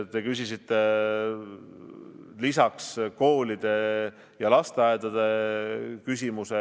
Te küsisite ka koolide ja lasteaedade kohta.